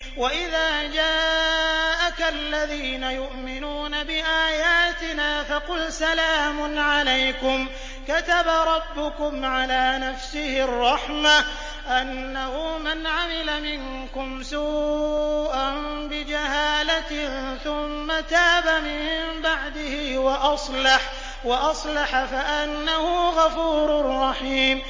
وَإِذَا جَاءَكَ الَّذِينَ يُؤْمِنُونَ بِآيَاتِنَا فَقُلْ سَلَامٌ عَلَيْكُمْ ۖ كَتَبَ رَبُّكُمْ عَلَىٰ نَفْسِهِ الرَّحْمَةَ ۖ أَنَّهُ مَنْ عَمِلَ مِنكُمْ سُوءًا بِجَهَالَةٍ ثُمَّ تَابَ مِن بَعْدِهِ وَأَصْلَحَ فَأَنَّهُ غَفُورٌ رَّحِيمٌ